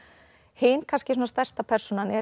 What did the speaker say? hin kannski stærsta persónan er